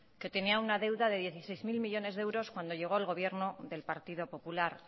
que tenía una deuda de dieciséis mil millónes de euros cuando llegó el gobierno del partido popular